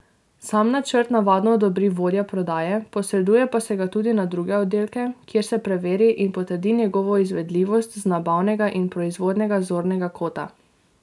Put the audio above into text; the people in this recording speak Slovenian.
Sam načrt navadno odobri vodja prodaje, posreduje pa se ga tudi na druge oddelke, kjer se preveri in potrdi njegovo izvedljivost z nabavnega ali proizvodnega zornega kota.